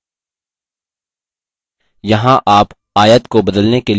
context menu देखने के लिए आयत पर right click करें